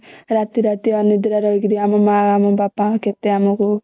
ରାତି ରାତି ଅନିଦ୍ରା ରହିକିରି ଆମ ମା ଆମ ବାପା କେତେ ଆମକୁ